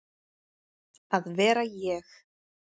að vera ég.